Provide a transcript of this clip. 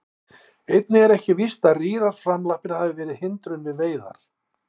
Einnig er ekki víst að rýrar framlappir hafi verið hindrun við veiðar.